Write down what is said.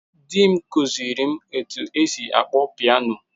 Di m kụziiri m otú e si akpọ piano.